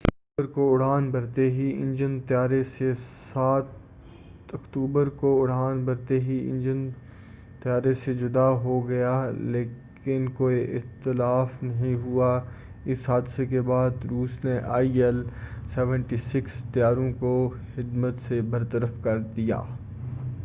7 اکتوبر کو اڑان بھرتے ہی انجن طیارہ سے جدا ہو گیا لیکن کوئی اتلاف نہیں ہوا اس حادثہ کے بعد روس نے آئی ایل-76 طیاروں کو خدمت سے برطرف کردیا